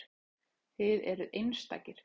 Þið eruð einstakir.